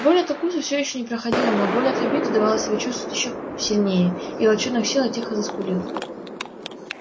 боль от укуса все ещё не проходила но боль от обиды давала себя чувствовать ещё сильнее и волчонок сел и тихо заскулил